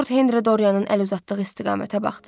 Lord Henri Dorianın əl uzatdığı istiqamətə baxdı.